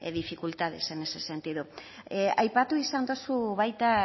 dificultades en ese sentido aipatu izan duzu baita